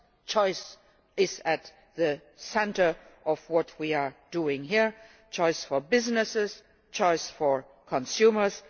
Choice is at the centre of what we are doing here choice for businesses, choice for consumers.